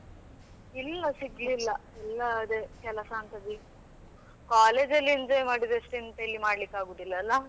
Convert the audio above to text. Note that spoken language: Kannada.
ಇಲ್ಲ ಸಿಗ್ಲಿಲ್ಲ ಎಲ್ಲ ಅದೇ ಕೆಲಸ ಅಂತ collegeಅಲ್ಲಿ enjoy ಮಾಡಿದಷ್ಟು ಎಂತಇಲ್ಲಿ ಮಾಡ್ಲಿಕ್ಕೆ ಆಗುದಿಲ್ಲ ಅಲಾ.